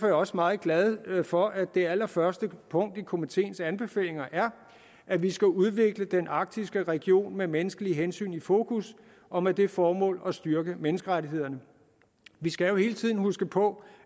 jeg også meget glad for at det allerførste punkt i komiteens anbefalinger er at vi skal udvikle den arktiske region med menneskelige hensyn i fokus og med det formål at styrke menneskerettighederne vi skal jo hele tiden huske på